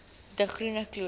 de groene kloof